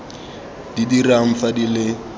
di dirang fa di le